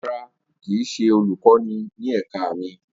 Rara, kii ṣe olukọni ni ẹka mi.